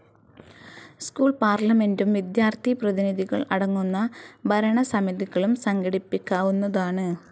School പാർലമെൻ്റും വിദ്യാർത്ഥിപ്രതിനിധികൾ അടങ്ങുന്ന ഭരണസമിതികളും സംഘടിപ്പിക്കാവുന്നതാണ്.